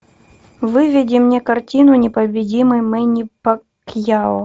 выведи мне картину непобедимый мэнни пакьяо